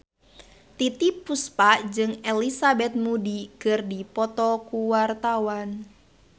Titiek Puspa jeung Elizabeth Moody keur dipoto ku wartawan